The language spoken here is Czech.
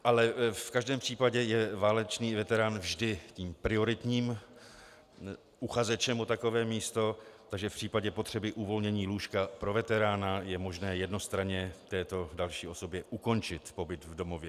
Ale v každém případě je válečný veterán vždy tím prioritním uchazečem o takové místo, takže v případě potřeby uvolnění lůžka pro veterána je možné jednostranně této další osobě ukončit pobyt v domově.